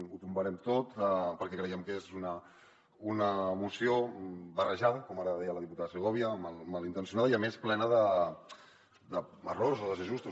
ho tombarem tot perquè creiem que és una moció barrejada com ara deia la diputada segovia malintencionada i a més plena d’errors o desajustos